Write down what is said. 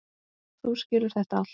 Þú skilur þetta allt.